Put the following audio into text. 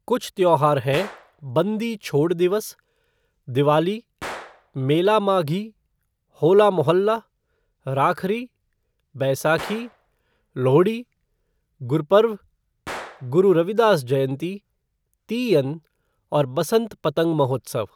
कुछ त्योहार हैं बंदी छोड़ दिवस, दिवाली, मेला माघी, होला मोहल्ला, राखरी, बैसाखी, लोहड़ी, गुरपर्व, गुरु रविदास जयंती, तीयन और बसंत पतंग महोत्सव।